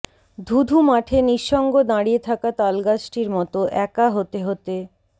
ধু ধু মাঠে নিঃসঙ্গ দাঁড়িয়ে থাকা তালগাছটির মতো একা হতে হতে